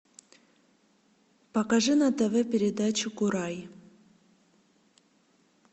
покажи на тв передачу курай